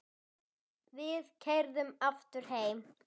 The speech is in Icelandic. Við keyrðum aftur heim.